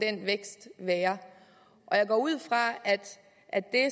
være jeg går ud fra at det